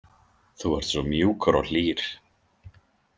Þú ert svo mjúkur og hlýr.